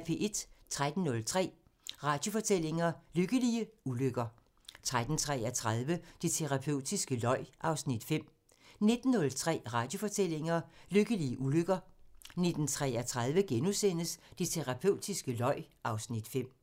13:03: Radiofortællinger: Lykkelige ulykker 13:33: Det terapeutiske løg (Afs. 5) 19:03: Radiofortællinger: Lykkelige ulykker 19:33: Det terapeutiske løg (Afs. 5)*